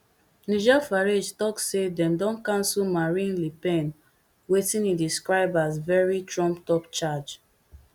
nigel farage tok say dem don cancel marine le pen wetin e describe as very trumpedup charge